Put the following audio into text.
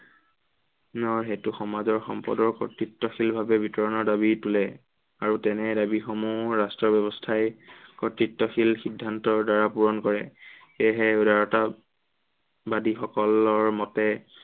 হেতু সমাজৰ সম্পদৰ কৰ্তৃত্বশীল ভাৱে বিতৰণৰ দাবী তোলে। আৰু তেনে দাবীসমূহ ৰাষ্ট্ৰ ব্য়ৱস্থাই, কৰ্তৃত্বশীল সিদ্ধান্তৰ দ্বাৰা পূৰণ কৰে। সেয়েহে উদাৰতা বাদীসকলৰ মতে